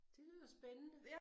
Det lyder spændende